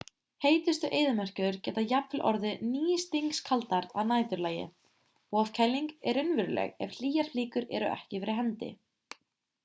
heitustu eyðimerkur geta jafnvel orðið nístingskaldar að næturlagi ofkæling er raunveruleg ef hlýjar flíkur eru ekki fyrir hendi